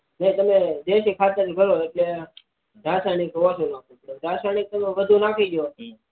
જે તમે દેસી ખાતરને ભરો એટલે રાસાયણિક ઓછુ નાહવું પડે રાસાયણિક વધુ નાખી દો